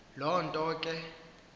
loo nto ke